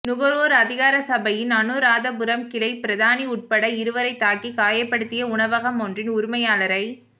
நுகர்வோர் அதிகார சபையின் அநுராதபுரம் கிளை பிரதானி உட்பட இருவரைத் தாக்கி காயப்படுத்திய உணவகம் ஒன்றின் உரிமையாளரை